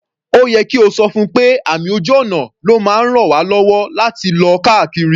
Ó yẹ kí o ti sọ fún pé àmì ojú ọ̀nà ló máa ń raln wá lọ́wọ́ láti lọ káàkiri.